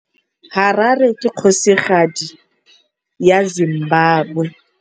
Harare ke kgosigadi ya Zimbabwe.